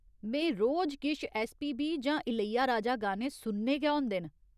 में रोज किश ऐस्सपीबी जां इलैयाराजा गाने सुनने गै होंदे न।